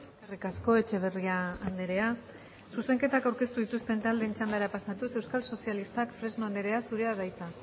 eskerrik asko etxeberria andrea zuzenketak aurkeztu dituzten taldeen txandara pasatuz euskal sozialistak fresno andrea zurea da hitza